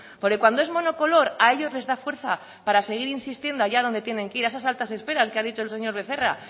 porque cuando es monocolor a ellos les da fuerza para seguir insistiendo allá donde tienen que ir a esas altas esferas que ha dicho el señor becerra